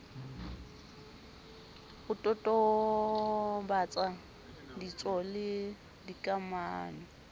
ho totobatsa ditso le dikamano